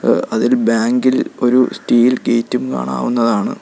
ആഹ് അതൊരു ബാങ്കിൽ ഒരു സ്റ്റീൽ ഗേറ്റും കാണാവുന്നതാണ്.